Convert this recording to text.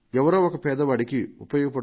ఇది పేద కుటుంబాలకు ఉపయోగపడవచ్చు